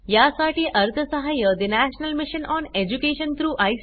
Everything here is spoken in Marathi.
यासाठी अर्थसहाय्य National Mission on Education through I